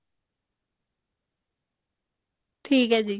ਠੀਕ ਹੈ ਜੀ